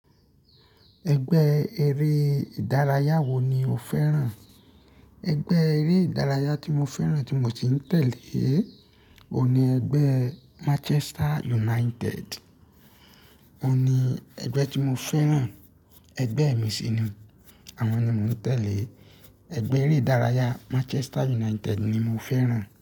Ẹgbẹ́ eré ìdárayá wo ni o fẹ́ràn? Ẹgbẹ́ eré ìdárayá tí mo fẹ́ràn tí mo sì ń tẹ́lẹ̀ òhun ní ẹgbẹ́ Manchester United. Ó ní ẹgbẹ́ tí mo fẹ́ràn, ẹgbẹ́ mi sì ni, àwọn ni mò ń tẹ̀lé. Ẹgbẹ́ eré ìdárayá Manchester United ni mo fẹ́ràn.